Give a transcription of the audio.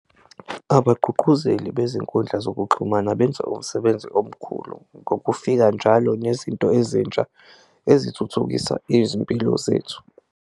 Abagqugquzeli bezinkundla zokuxhumana benza umsebenzi omkhulu ngokufika njalo nezinto ezintsha ezithuthukisa izimpilo zethu.